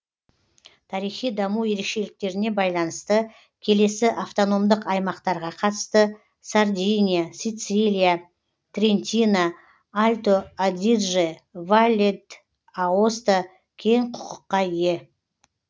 тарихи даму ерекшеліктеріне байланысты келесі автономдық аймақтарға қатысты сардиния сицилия трентино альто адидже валле д аоста кең құқыққа ие